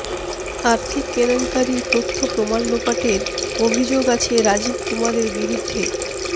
আর্থিক কেলেঙ্কারির তথ্য প্রমাণ লোপাটের অভিযোগ আছে রাজিব কুমারের বিরুদ্ধে